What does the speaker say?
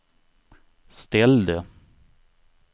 ställde